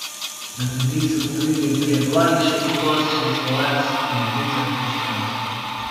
Na kmetiji so poginili trije konji, šest koz, šest ovac in ducat piščancev.